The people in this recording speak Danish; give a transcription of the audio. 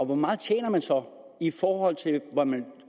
hvor meget tjener man så i forhold til hvad man